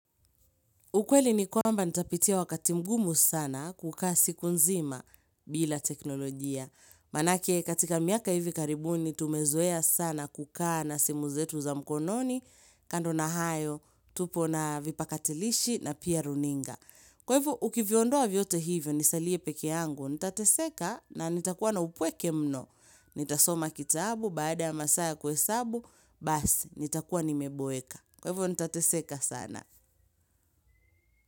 Ukweli ni kwamba nitapitia wakati mgumu sana kukaa siku nzima bila teknolojia. Maanake katika miaka hivi karibuni tumezoea sana kukaa na simu zetu za mkononi, kando na hayo, tupo na vipakatilishi na pia runinga. Kwa hivyo ukiviondoa vyote hivyo nisalie peke yangu, nitateseka na nitakuwa na upweke mno. Nitasoma kitabu, baada ya masaa ya kuhesabu, basi nitakuwa nimeboeka. Kwevo nitateseka sana.